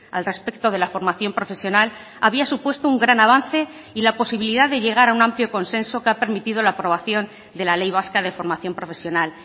al respecto de la formación profesional había supuesto un gran avance y la posibilidad de llegar a un amplio consenso que ha permitido la aprobación de la ley vasca de formación profesional